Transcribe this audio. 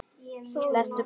Lestu bækur.